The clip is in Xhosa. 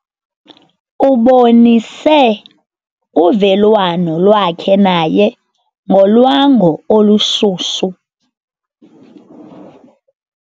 Ubonise uvelwano lwakhe naye ngolwango olushushu.